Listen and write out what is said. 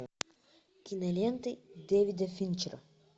киноленты дэвида финчера